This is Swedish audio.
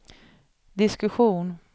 diskussion